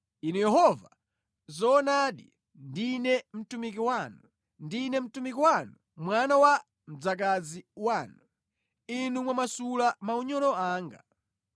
Inu Yehova, zoonadi ndine mtumiki wanu: ndine mtumiki wanu, mwana wa mdzakazi wanu; Inu mwamasula maunyolo anga.